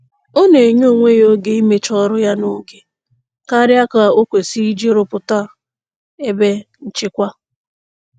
Ọ na-enye onwe ya oge imecha ọrụ ya n'oge karịa ka o kwesịrị iji rụpụta ebe nchekwa.